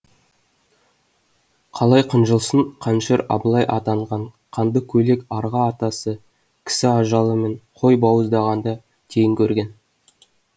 қалай қынжылсын қанішер абылай атанған қанды көйлек арғы атасы кісі ажалы мен қой бауыздағанды тең көрген